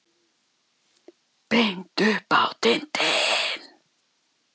Beint upp á tindinn.